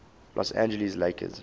los angeles lakers